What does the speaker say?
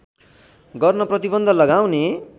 गर्न प्रतिबन्ध लगाउने